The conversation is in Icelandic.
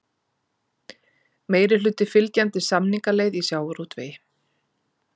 Meirihluti fylgjandi samningaleið í sjávarútvegi